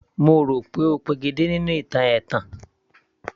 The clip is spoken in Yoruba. Mo rò pé ó pegedé nínú ìtàn ẹ̀tàn